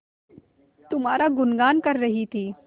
तुम्हारा गुनगान कर रही थी